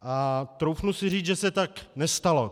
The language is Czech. A troufnu si říct, že se tak nestalo.